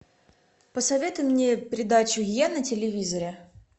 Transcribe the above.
посоветуй мне передачу е на телевизоре